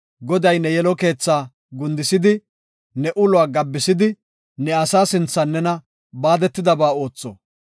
Goday ne yelo keetha gundisidi, ne uluwa gabbisidi ne asaa sinthan nena baadetidaba ootho.